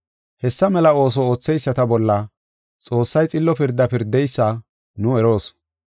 Hessa mela ooso ootheyisata bolla Xoossay xillo pirdaa pirdeysa nu eroos.